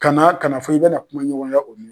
Kana kana fɔ i bɛna kulonɲɔgɔnya o ma.